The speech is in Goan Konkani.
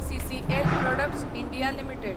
CCL products India limited